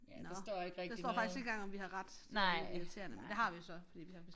Nåh der står faktisk ikke engang om vi har ret det er lidt irriterende det har vi jo så fordi vi har